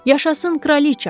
Yaşasın kraliça!